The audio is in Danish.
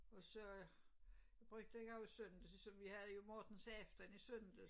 Og så brugte jeg jo i søndags så vi havde j Mortensaften i søndags